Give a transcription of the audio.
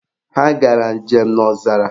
Ha gara njem n'ọzara